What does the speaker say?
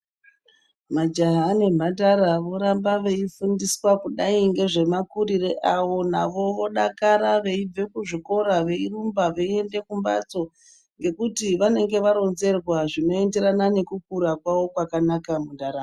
Majaha nembandara voramba veifundisa kudai nemakuruiro awo navo vodakara veiramba Kumbatso ngekuti vanenge varonserwa zvinoenderana nekukura kwazvo mundaramo.